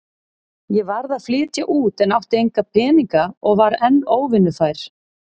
Ég varð að flytja út en átti enga peninga og var enn óvinnufær.